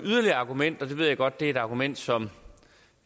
yderligere argument og jeg ved godt at det er et argument som